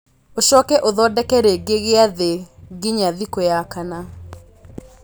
ũcoke ũthondeke rĩngĩ gĩathĩ nginya thikũ ya kana